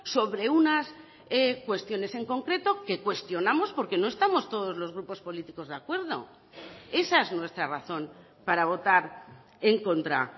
sobre unas cuestiones en concreto que cuestionamos porque no estamos todos los grupos políticos de acuerdo esa es nuestra razón para votar en contra